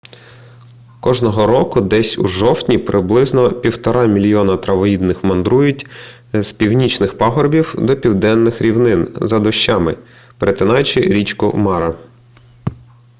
кожного року десь у жовтні приблизно 1,5 мільйона травоїдних мандрують з північних пагорбів до південних рівнин за дощами перетинаючи річку мара